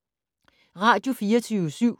Radio24syv